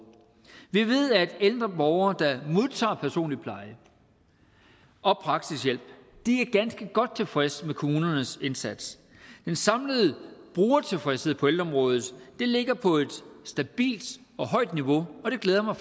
vi ved at ældre borgere der modtager personlig pleje og praktisk hjælp er ganske godt tilfredse med kommunernes indsats den samlede brugertilfredshed på ældreområdet ligger på et stabilt og højt niveau og det glæder mig